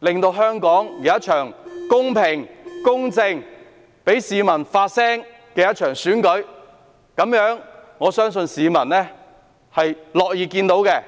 讓香港舉行一場公平、公正，同時讓市民發聲的選舉，我相信這是市民樂意看到的。